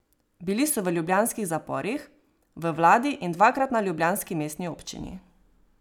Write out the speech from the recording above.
Bili so v ljubljanskih zaporih, v vladi in dvakrat na ljubljanski mestni občini.